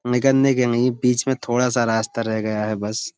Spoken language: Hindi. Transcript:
निकने के लिए बीच में थोड़ा सा रास्ता रह गया है बस।